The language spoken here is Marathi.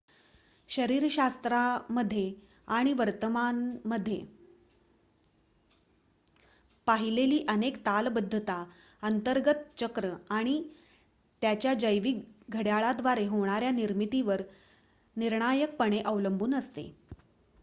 शरीरशास्त्रामध्ये आणि वर्तनामध्ये पाहिलेली अनेक तालबद्धता अंतर्गत चक्र आणि त्याच्या जैविक घड्याळाद्वारे होणाऱ्या निर्मितीवर निर्णायकपणे अवलंबून असते